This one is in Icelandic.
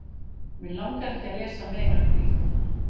mig langar ekki að lesa meira um íþróttamenn